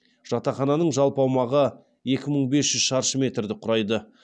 жатақхананың жалпы аумағы екі мың бес жүз шаршы метрді құрайды